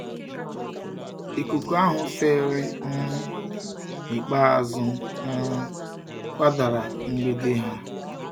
Ikuku ahụ fèrè um n'ikpeazụ um kwadara mgbidi ha